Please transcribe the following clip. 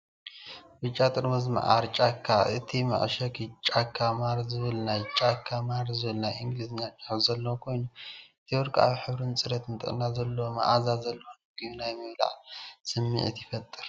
ብጫ ጥርሙዝ መዓር ጫካ። እቲ መዐሸጊ ቻካ ማር ዝብል ናይ ቻካ ማር ዝብል ናይ እንግሊዝኛ ጽሑፍ ዘለዎን ኮይኑ፡ እቲ ወርቃዊ ሕብርን ጽሬትን ጥዕና ዘለዎን መኣዛ ዘለዎን ምግቢ ናይ ምብላዕ ስምዒት ይፈጥር።